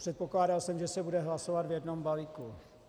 Předpokládal jsem, že se bude hlasovat v jednom balíku.